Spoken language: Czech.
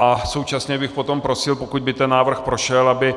A současně bych potom prosil, pokud by ten návrh prošel, aby